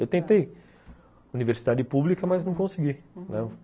Eu tentei Universidade Pública, mas não consegui, uhum.